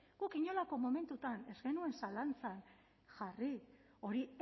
guk inolako momentuan ez genuen zalantzan jarri hori